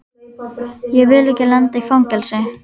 Ég vil ekki lenda í fangelsi.